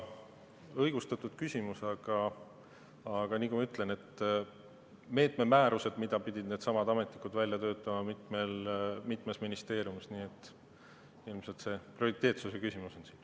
Õigustatud küsimus, aga nagu ma ütlen, et meetme määrused, mida pidid needsamad ametnikud välja töötama mitmes ministeeriumis – ilmselt see prioriteetsuse küsimus on siin.